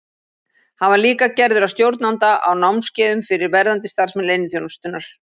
Hann var líka gerður að stjórnanda á námskeiðum fyrir verðandi starfsmenn leyniþjónustunnar.